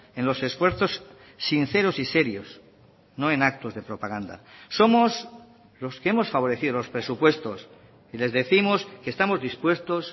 en los esfuerzos sinceros y serios no en actos de propaganda somos los que hemos favorecido los presupuestos y les décimos que estamos dispuestos